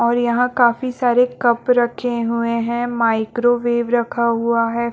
और यहाँ काफी सारे कप रखे हुए है माइक्रोवेव रखा हुआ हैं।